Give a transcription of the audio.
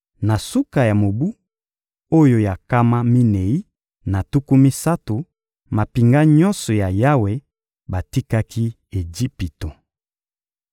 Na suka ya mobu oyo ya nkama minei na tuku misato, mampinga nyonso ya Yawe batikaki Ejipito.